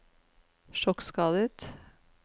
sjokkskadet